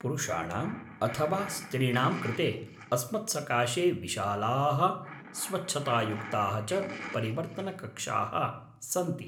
पुरुषाणां अथवा स्त्रीणां कृते अस्मत्सकाशे विशालाः स्वच्छतायुक्ताः च परिवर्तनकक्षाः सन्ति।